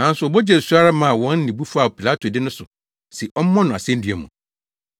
Nanso wɔbɔ gyee so ara maa wɔn nne bu faa Pilato de no so se ɔmmɔ no asennua mu.